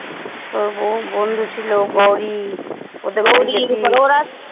তোর বহু বন্ধু ছিল গৌরী।